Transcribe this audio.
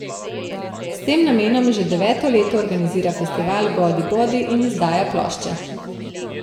S tem namenom že deveto leto organizira festival Godibodi in izdaja plošče.